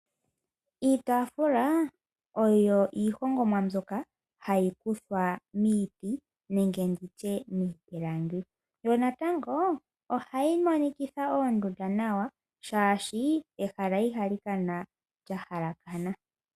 Iitaafula oyo iihongomwa mbyoka hayi kuthwa miiti nenge miipilangi. Ohayi monikitha oondunda nawa, oshoka ehala ihali kala lya halakana.